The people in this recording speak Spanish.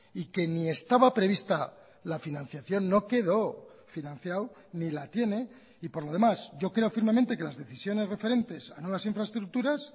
y que ni estaba prevista la financiación no quedó financiado ni la tiene y por lo demás yo creo firmemente que las decisiones referentes a nuevas infraestructuras